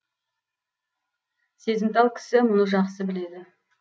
сезімтал кісі мұны жақсы біледі